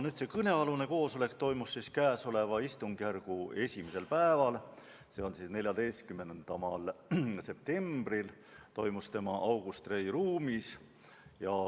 Kõnealune koosolek toimus käesoleva istungjärgu esimesel päeval, s.o 14. septembril August Rei ruumis.